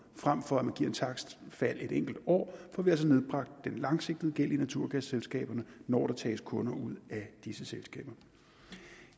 frem for at man giver et takstfald et enkelt år får vi altså nedbragt den langsigtede gæld i naturgasselskaberne når der tages kunder ud af disse selskaber